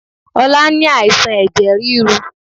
Ọlá ni àìsàn ẹ̀jẹ̀ ríru